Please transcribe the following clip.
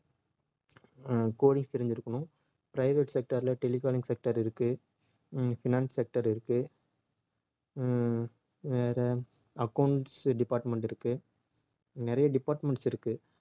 அஹ் coding தெரிஞ்சிருக்கணும் private sector ல telecalling sector இருக்கு உம் finance sector இருக்கு உம் வேற accounts department இருக்கு நிறைய departments இருக்கு